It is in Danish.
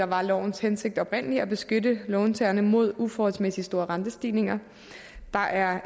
var lovens hensigt nemlig at beskytte låntagerne mod uforholdsmæssigt store rentestigninger der er